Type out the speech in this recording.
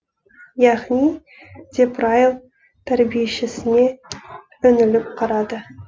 яғни деп райл тәрбиешісіне үңіліп қарады